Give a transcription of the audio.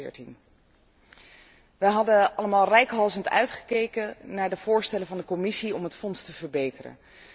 2014. We hebben allemaal reikhalzend uitgekeken naar de voorstellen van de Commissie om het Fonds te verbeteren.